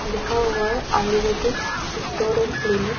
लिखा हुआ है आयुर्वेदिक स्टोर एंड क्लीनिक ।